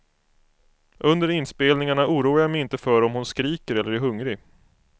Under inspelningarna oroar jag mig inte för om hon skriker eller är hungrig.